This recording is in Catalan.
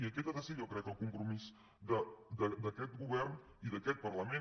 i aquest ha de ser jo crec el compromís d’aquest govern i d’aquest parlament